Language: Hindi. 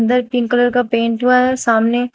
अंदर पिंक कलर का पेंट हुआ है सामने।